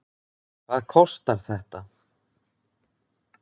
Hvað kostar þetta?